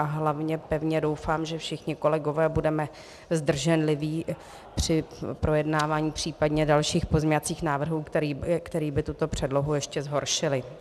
A hlavně pevně doufám, že všichni kolegové budeme zdrženliví při projednávání případně dalších pozměňovacích návrhů, které by tuto předlohu ještě zhoršily.